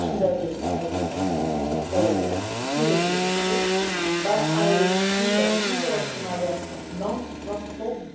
As all the speakers mentioned, the situation there is incredibly difficult, but I can see that the people of Somalia have not lost hope.